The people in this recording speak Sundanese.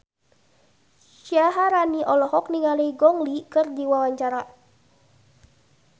Syaharani olohok ningali Gong Li keur diwawancara